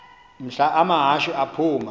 mhla amahashe aphuma